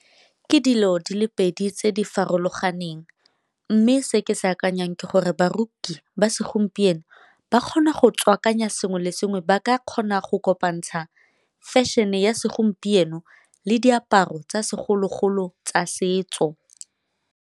Ke dilo di le pedi tse di farologaneng, mme se ke se akanyang ke gore baruki ba segompieno ba kgona go tswakanya sengwe le sengwe ba ka kgona go kopantsha fashion-e ya segompieno le diaparo tsa segologolo tsa setso.